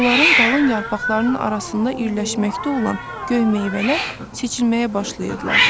Onların qalın yarpaqlarının arasında irləşməkdə olan göy meyvələr seçilməyə başlayırdılar.